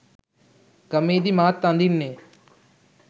ගමේදි මාත් අඳින්නෙ